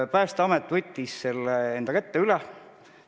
Päästeamet võttis selle enda kätte üle.